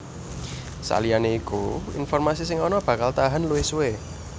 Saliyané iku informasi sing ana bakal tahan luwih suwé